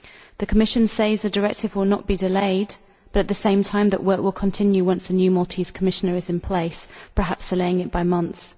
The Commission says that the directive will not be delayed, but that at the same time work will continue once the new Maltese Commissioner is in place, perhaps delaying it by months.